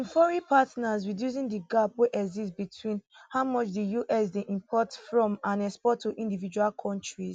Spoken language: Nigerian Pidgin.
im foreign partners reducing di gap wey exist between how much di us dey import from and export to individual kontris